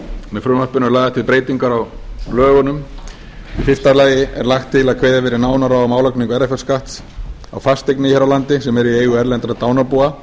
með frumvarpinu eru lagðar til breytingar á lögunum í fyrsta lagi er lagt til að kveðið verði nánar á um álagningu erfðafjárskatts á fasteignir hér á landi sem eru í eigu erlendra dánarbúa